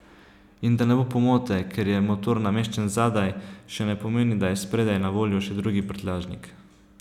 In da ne bo pomote, ker je motor nameščen zadaj, še ne pomeni, da je spredaj na voljo še drugi prtljažnik.